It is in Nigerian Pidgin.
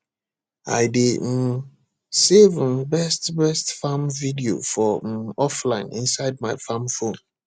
i dey um save um best best farm video for um offline inside my farm phone